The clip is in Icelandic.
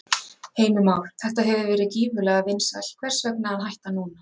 Heimir Már: Þetta hefur verið gífurlega vinsælt, hvers vegna að hætta núna?